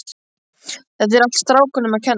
Þetta er allt strákunum að kenna.